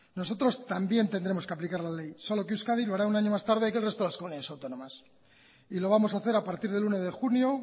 nosotros también tendremos que aplicar la ley solo que euskadi lo hará un año más tarde que el resto de las comunidades autónomas y lo vamos a hacer a partir del uno de julio